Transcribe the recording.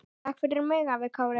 Takk fyrir mig, afi Kári.